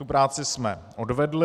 Tu práci jsme odvedli.